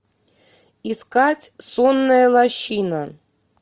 искать сонная лощина